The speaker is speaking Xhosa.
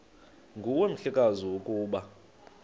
nguwe mhlekazi ukuba